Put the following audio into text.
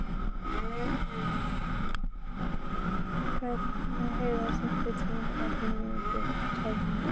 Ingheiður, stilltu tímamælinn á fimmtíu og tvær mínútur.